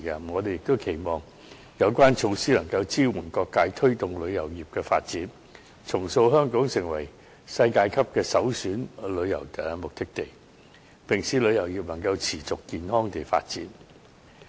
我們亦期望有關措施能支援各界推動旅遊業的發展，重塑香港成為世界級的首選旅遊目的地，並使旅遊業能持續健康地發展。